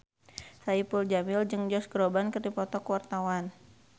Saipul Jamil jeung Josh Groban keur dipoto ku wartawan